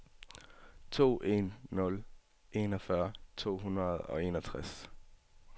to en nul en enogfyrre to hundrede og enogtres